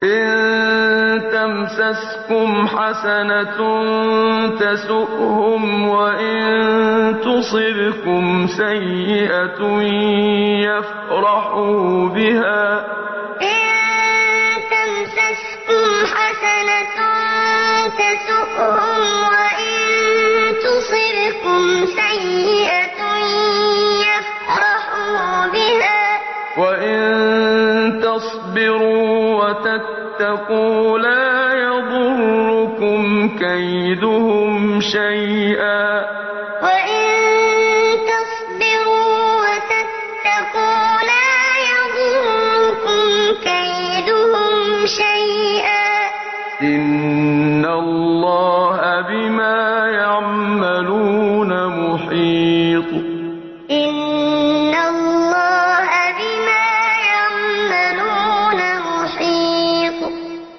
إِن تَمْسَسْكُمْ حَسَنَةٌ تَسُؤْهُمْ وَإِن تُصِبْكُمْ سَيِّئَةٌ يَفْرَحُوا بِهَا ۖ وَإِن تَصْبِرُوا وَتَتَّقُوا لَا يَضُرُّكُمْ كَيْدُهُمْ شَيْئًا ۗ إِنَّ اللَّهَ بِمَا يَعْمَلُونَ مُحِيطٌ إِن تَمْسَسْكُمْ حَسَنَةٌ تَسُؤْهُمْ وَإِن تُصِبْكُمْ سَيِّئَةٌ يَفْرَحُوا بِهَا ۖ وَإِن تَصْبِرُوا وَتَتَّقُوا لَا يَضُرُّكُمْ كَيْدُهُمْ شَيْئًا ۗ إِنَّ اللَّهَ بِمَا يَعْمَلُونَ مُحِيطٌ